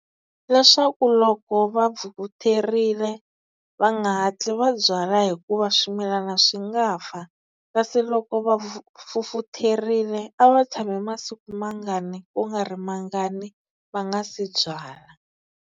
Leswaku loko va vutherile va nga hatli va byala, hikuva swimilana swi nga fa. Kasi loko va fufutherile a va tshami masiku mangani ku nga ri mangani va nga se byala.